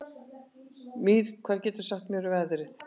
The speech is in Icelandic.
Mír, hvað geturðu sagt mér um veðrið?